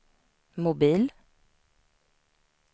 mobil